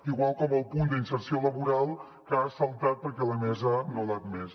igual com el punt d’inserció laboral que ha saltat perquè la mesa no l’ha admès